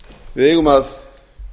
við eigum að